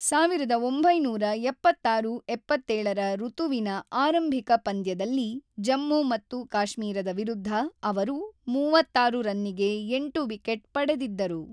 ೧೯೭೬-೭೭ ರ ಋತುವಿನ ಆರಂಭಿಕ ಪಂದ್ಯದಲ್ಲಿ ಜಮ್ಮು-ಮತ್ತು-ಕಾಶ್ಮೀರದ ವಿರುದ್ಧ ಅವರು ೩೬ ರನ್ನಿಗೆ ೮ ವಿಕೆಟ್ ಪಡೆದಿದ್ದರು.